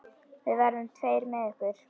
Við verðum tveir með ykkur.